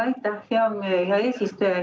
Aitäh, hea eesistuja!